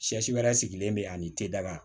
Siyɛ si wɛrɛ sigilen bɛ ani tedala